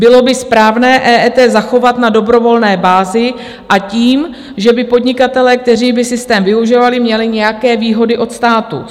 Bylo by správné EET zachovat na dobrovolné bázi s tím, že by podnikatelé, kteří by systém využívali, měli nějaké výhody od státu.